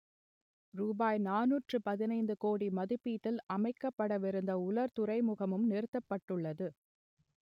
ரூபாய் நானூற்று பதினைந்து கோடி மதிப்பீட்டில் அமைக்கப்படவிருந்த உலர் துறைமுகமும் நிறுத்தப்பட்டுள்ளது